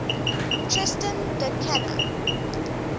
tristan da cunha